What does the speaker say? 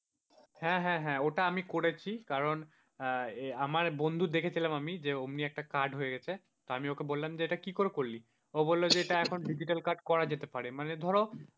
হ্যাঁ, হ্যাঁ, হ্যাঁ, ওটা আমি করেছি কারণ আমার বন্ধুর দেখেছিলাম আমি, যে অমনি একটা card হয়ে গেছে তো আমি ওকে বললাম যে এটা কি করে করলি ও বলল যে এটা এখন digital card করা যেতে পারে, মানে ধরো,